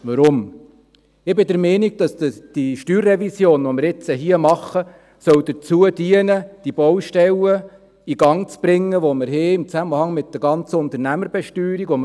Weshalb? – Ich bin der Meinung, dass die StG-Revision, die wir nun hier machen, dazu dienen soll, die Baustellen in Gang zu bringen, die wir im Zusammenhang mit der ganzen Unternehmerbesteuerung haben.